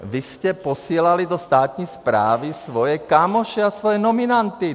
Vy jste posílali do státní správy svoje kámoše a svoje nominanty.